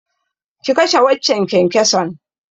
Ki kashe waccan kyankyason!